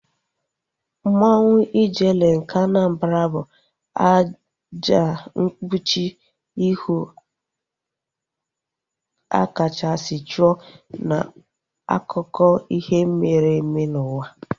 Mmanwu Ijele nke Anambra bụ àjà mkpuchi ihu a kachasị chụọ n'akụkọ ihe mere eme n'ụwa